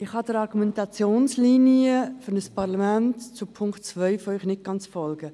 Ich kann Ihrer Argumentationslinie zum Punkt 2 nicht ganz folgen.